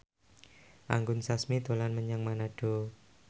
Anggun Sasmi dolan menyang Manado